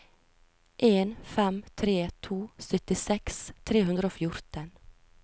en fem tre to syttiseks tre hundre og fjorten